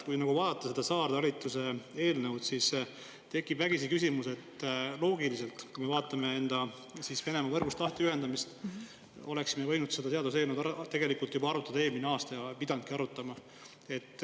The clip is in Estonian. Kui vaadata seda saartalitluse eelnõu ja enda lahtiühendamist Venemaa võrgust, siis tekib vägisi küsimus, kas me loogiliselt võttes poleks võinud seda seaduseelnõu arutada juba eelmisel aastal, õieti oleksimegi pidanud seda siis tegema.